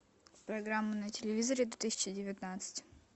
программа на телевизоре две тысячи девятнадцать